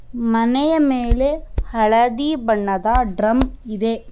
ಮನೆಯ ಮೇಲೆ ಹಳದಿ ಬಣ್ಣದ ಡ್ರಮ್ ಇದೆ.